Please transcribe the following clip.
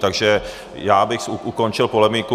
Takže já bych ukončil polemiku.